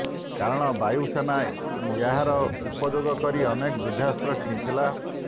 କାରଣ ବାୟୁସେନା ଏହାର ଉପଯୋଗ କରି ଅନେକ ଯୁଦ୍ଧାସ୍ତ୍ର କିଣିଥିଲା